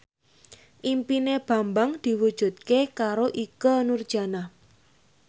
impine Bambang diwujudke karo Ikke Nurjanah